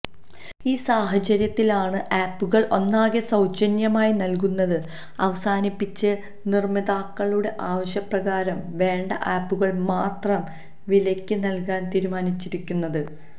ഈ സാഹചര്യത്തിലാണ് ആപ്പുകൾ ഒന്നാകെ സൌജന്യമായി നൽകുന്നത് അവസാനിപ്പിച്ച് നിർമാതാക്കളുടെ ആവശ്യപ്രകാരം വേണ്ട ആപ്പുകൾ മാത്രം വിലയ്ക്ക് നൽകാൻ തീരുമാനിച്ചിരിക്കുന്നത്